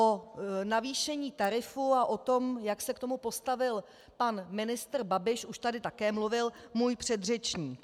O navýšení tarifu a o tom, jak se k tomu postavil pan ministr Babiš, už tady také mluvil můj předřečník.